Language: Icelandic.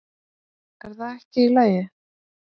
Er það ekki í lagi?